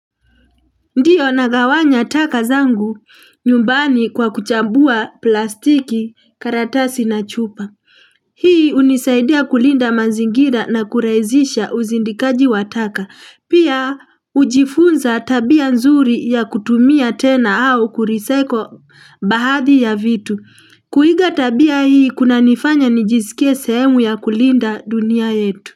Ndiyo nagawanya taka zangu nyumbani kwa kuchambua plastiki, karatasi na chupa. Hii hunisaidia kulinda mazingira na kurahizisha uzindikaji wa taka. Pia hujifunza tabia nzuri ya kutumia tena au kurecyle baadhi ya vitu. Kuiga tabia hii kunanifanya nijisikia sehemu ya kulinda dunia yetu.